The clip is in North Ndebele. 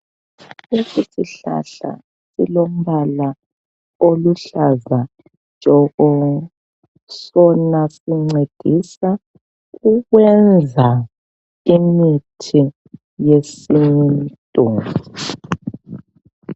Lesi sihlahla silombala oluhlaza tshoko sona sincedisa ukwenza imithi yesintu.